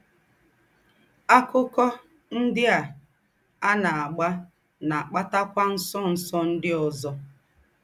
“ Àkụ́kọ̀ ńdị́ à à ná-àgbà ná-àkpàtakwà ńsọ̀nsọ̀ ńdị́ ózọ. ”